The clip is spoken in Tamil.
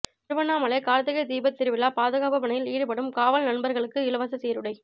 திருவண்ணாமலை கார்த்திகை தீபத் திருவிழா பாதுகாப்புப் பணியில் ஈடுபடும் காவல் நண்பர்களுக்கு இலவசச் சீருடை